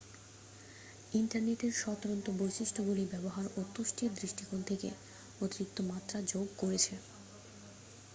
ইন্টারনেটের স্বতন্ত্র বৈশিষ্ট্যগুলি ব্যবহার ও তুষ্টির দৃষ্টিকোণ থেকে অতিরিক্ত মাত্রা যোগ করেছে